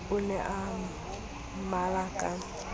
o ne a mmalla ka